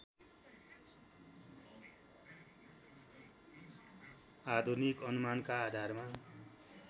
आधुनिक अनुमानका आधारमा